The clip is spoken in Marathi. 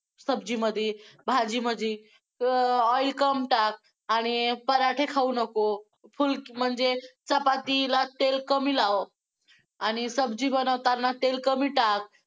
सब्जीमध्ये, भाजी मध्ये अं oil कम टाक आणि पराठे खाऊ नको फुल~ म्हणजे चपातीला तेल कमी लाव. आणि सब्जी बनवताना तेल कमी टाक.